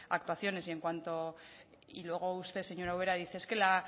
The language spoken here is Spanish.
actuaciones y en cuanto y luego usted señora ubera dice es que la